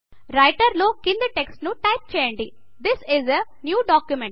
writer లో కింది text ను టైప్ చేయండి this is a new document